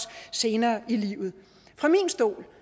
senere i livet fra min stol